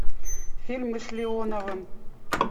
фильмы с леоновым